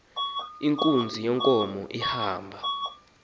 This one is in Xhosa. inkunzi yenkomo ihamba